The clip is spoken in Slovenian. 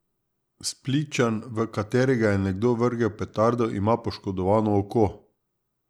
Splitčan, v katerega je nekdo vrgel petardo, ima poškodovano oko.